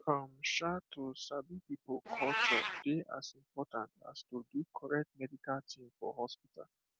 um um to sabi people culture dey as important as to do correct medical thing for hospital